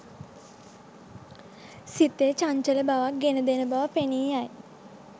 සිතේ චංචල බවක් ගෙන දෙන බව පෙනීයයි.